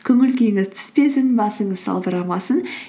көңіл күйіңіз түспесін басыңыз салбырамасын